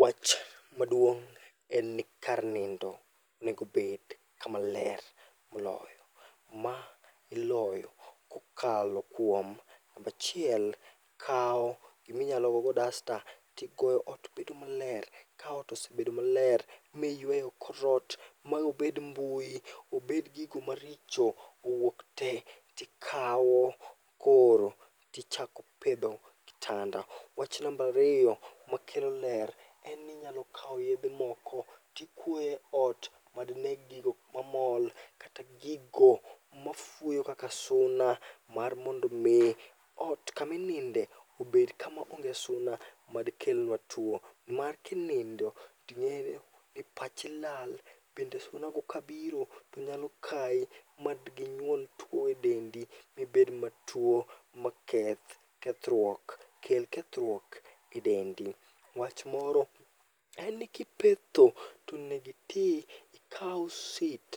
Wach maduong' en ni kar nindo onegobed kama ler moloyo. Ma iloyo kokalo kuom nambachiel ikawo giminyalo gogo dasta tigoyo ot bedo maler. Ka ot osebedo maler miyweyo korot maobed mbui, obed gigo maricho, owuok te. Tikawo koro tichako pedho kitanda. Wach nambariyo makelo ler en ni inyalokawo yedhe moko tikwoye ot madneg gigo mamol kata gigo mafuyo kaka suna. Mar mondo mi ot kamininde obed kama onge suna madi kelnwa tuo mar kinindo ting'eyo ni pachi lal. Bende suna go ka biro to nyalo kai madginyuol tuo e dendi mibed matuo ma keth kethruok kel kethruok e dendi. Wach moro en ni kipetho tonegiti ikaw sit